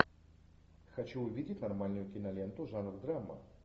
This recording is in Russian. хочу увидеть нормальную киноленту жанр драма